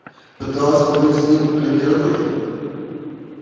пыталась поговорить с ним о литературе